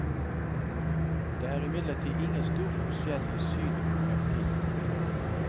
Det er imidlertid ingen stor forskjell i synet på fremtiden.